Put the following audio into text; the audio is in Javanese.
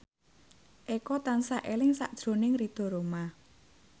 Eko tansah eling sakjroning Ridho Roma